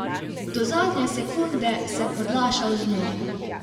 Do zadnje sekunde sem odlašal z njo.